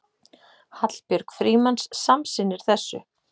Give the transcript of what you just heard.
Hallbjörg Frímanns samsinnir þessu.